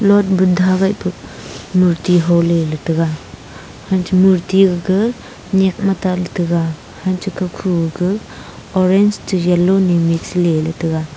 ga buda gah murti hola le taga aga chu murti gaga nyak ma ta taga orange yellow taga.